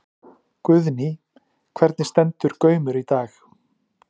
Guðný: Hvernig stendur Gaumur í dag?